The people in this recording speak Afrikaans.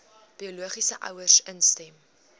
biologiese ouers instem